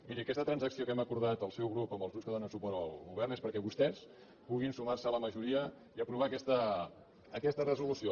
miri aquesta transacció que hem acordat el seu grup amb els grups que donen suport al govern és perquè vostès puguin sumar se a la majoria i aprovar aquesta resolució